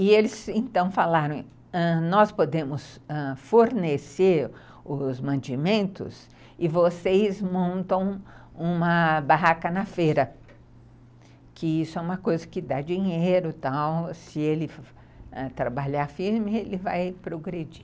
E eles então falaram, ãh, nós podemos fornecer os mantimentos e vocês montam uma barraca na feira, que isso é uma coisa que dá dinheiro e tal, se ele trabalhar firme ele vai progredir.